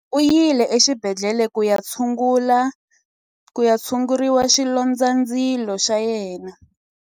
U yile exibedhlele ku ya tshungurisa xilondzandzilo xa yena.